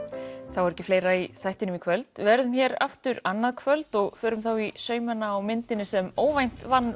þá er ekki fleira í þættinum í kvöld við verðum hér aftur annað kvöld og förum þá í saumana á myndinni sem óvænt vann